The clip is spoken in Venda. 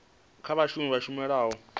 kha vhashumi vha tshumelo ya